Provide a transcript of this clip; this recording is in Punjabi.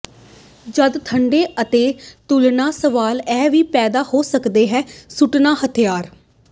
ਜਦ ਠੰਡੇ ਅਤੇ ਤੁਲਨਾ ਸਵਾਲ ਇਹ ਵੀ ਪੈਦਾ ਹੋ ਸਕਦਾ ਹੈ ਸੁੱਟਣ ਹਥਿਆਰ